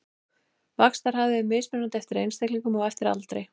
Vaxtarhraði er mismunandi eftir einstaklingum og eftir aldri.